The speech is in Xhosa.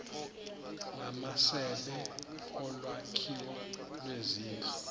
ngamasebe olwakhiwo lwezindlu